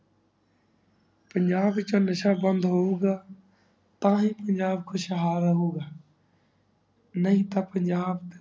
ਪੰਜਾਬ ਵਿਚ ਨਸ਼ਾ ਬੰਦ ਹੋਹੁ ਗਾ ਤਾਂਹੀ ਪੰਜਾਬ ਖੁਸ਼ਾਲ ਰਹੁ ਗਾ ਨਹੀ ਤਾਂ ਪੰਜਾਬ